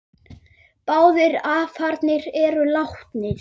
Báðir afarnir eru látnir.